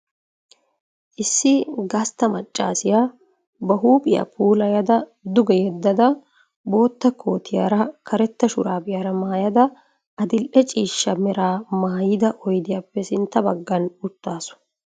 Issi gastta maccaasiya ba huuphiya puulayada duge yeddada bootta kootiyaara karetta shuraabiyaara maayada addil'e ciishsha meraa maayida oydiyappe sintta baggan uttaasu.